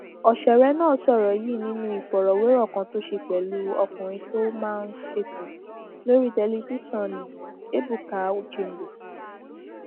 ọsẹrẹ náà sọrọ yìí nínú ìfọrọwérọ kan tó ṣe pẹlú ọkùnrin tó máa ń ṣètò lórí tẹlifíṣàn nni ebuka uchendu